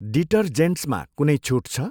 डिटरजेन्ट्समा कुनै छुट छ?